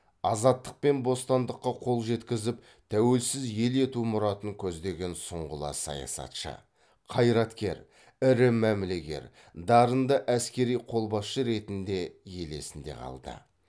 азаттық пен бостандыққа қол жеткізіп тәуелсіз ел ету мұратын көздеген сұңғыла саясатшы қайраткер ірі мәмілегер дарынды әскери қолбасшы ретінде ел есінде қалды